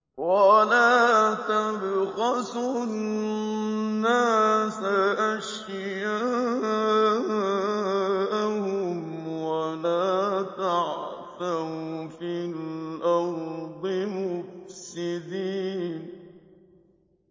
وَلَا تَبْخَسُوا النَّاسَ أَشْيَاءَهُمْ وَلَا تَعْثَوْا فِي الْأَرْضِ مُفْسِدِينَ